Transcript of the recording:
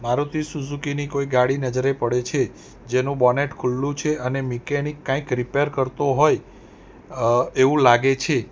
Maruti Suzuki ની કોઈ ગાડી નજરે પડે છે જેનું બોનેટ ખુલ્લું છે અને મિકેનિક કંઈક રીપેર કરતો હોય એવું લાગે છે.